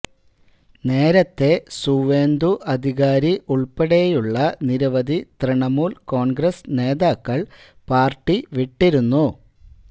നേരത്തെ സുവേന്ദു അധികാരി ഉള്പ്പെടെയുള്ള നിരവധി തൃണമൂല് കോണ്ഗ്രസ് നേതാക്കള് പാര്ട്ടി വിട്ടിരുന്നു